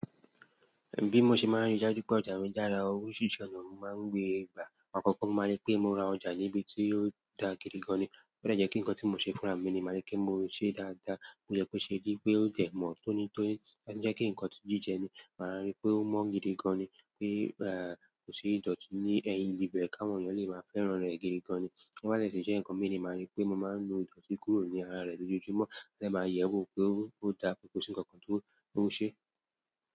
Bí mo ṣe máa ń rí i dájú pé ọjà mi dára, oríṣìírísi ọ̀nà mo máa ń gbé gbà. Àkọ́kọ́ mo máa rí pé mo ra ọjà níbi tí ó da gidi gan ni. Ó jẹ́ kí nǹkan tí mo ṣe fúnra mi ni màá rí pé mo ṣe dáadáa, kó yẹ kó ṣe rí, pé ó jẹ́ mọ́n tónítóní, tó bàsì jẹ́ nǹkan jíjẹ ni, màá rí pé ó mọ́ gidi gan ni, pé kò sí ìdọ̀tí ni ẹ́yìn ibi ibẹ̀ ká wọn èyàn lè máa fẹ́ràn rẹ̀ gidi gan ni. Tó bá dẹ̀ tún jẹ́ nǹkan mi ni màá rí pé mo máa ńu ìdọ̀tí kúrò ní ara rẹ̀ lójoojúmọ́, máa dẹ̀ máa yẹ̀ ẹ́ wò pé ó dà pé kò sí nǹkan tí ó ṣe.